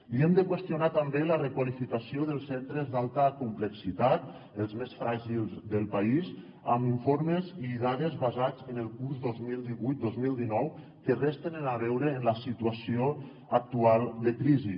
li hem de qüestionar també la requalificació dels centres d’alta complexitat els més fràgils del país amb informes i dades basats en el curs dos mil divuit dos mil dinou que res tenen a veure amb la situació actual de crisi